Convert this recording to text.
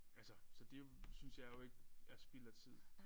Altså så det synes jeg jo ikke er spild af tid